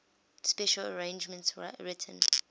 special arrangements written